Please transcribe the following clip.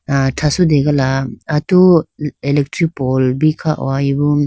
ah thrategala atu electric post bi kho hoyi bo.